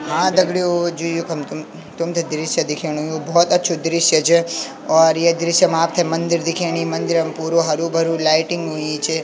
हाँ दगडियों जू युखम तुम तुम्थे दृश्य दिखेणु यु भौत अछू दृश्य च और ये दृश्य मा आपथे मंदिर दिखेणी मंदिर म पुरो हरु भरू लाइटिंग हुई च।